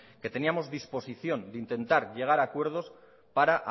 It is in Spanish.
que teníamos disposición de intentar llegar a acuerdos para